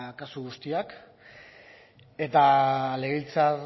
kasu guztiak eta legebiltzar